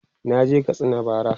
naje Katsina bara